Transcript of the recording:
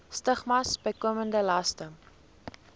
stigmas bykomende laste